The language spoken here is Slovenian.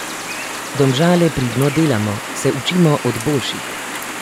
Domžale pridno delamo, se učimo od boljših.